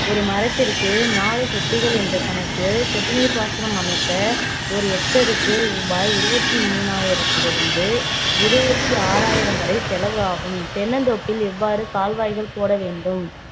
ஒரு மரத்திற்கு நான்கு சொட்டிகள் என்ற கணக்கில் சொட்டு நீர் பாசனம் அமைக்க ஒரு hector க்கு ரூபாய் இருபத்து மூணாயிரத்திலிருந்து இருபத்து ஆறாயிரம் வரை செலவு ஆகும் இருபது ஆறாயிரம் வரை செலவு ஆகும் தென்ந்தோப்பில் எவ்வாறு கால்வாய்கள்